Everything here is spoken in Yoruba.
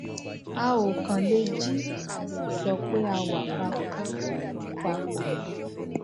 a ò kàn lè jí ká sì sọ pé a wà pa pọ wà pa pọ